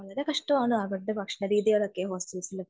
വളരെ കഷ്ടമാണ് അവിടുത്തെ ഭക്ഷണ രീതികളൊക്കെ ഹോസ്റ്റലിൽ